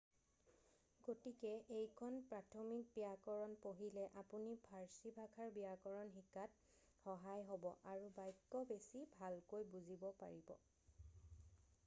গতিকে এইখন প্ৰাথমিক ব্যাকৰণ পঢ়িলে আপুনি ফাৰ্চী ভাষাৰ ব্যাকৰণ শিকাত সহায় হব আৰু বাক্য বেছি ভালকৈ বুজিব পাৰিব